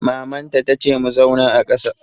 Maman ta ta ce mu zauna a kàsa!